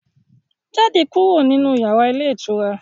Jáde kúrò nínu yàrá ilé ìtura